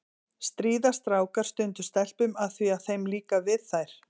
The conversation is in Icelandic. Stríða strákar stundum stelpum af því að þeim líkar við þær?